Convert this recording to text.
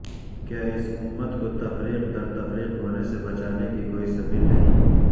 کیا اس امت کو تفریق در تفریق ہونے سے بچانے کی کوئی سبیل نہیں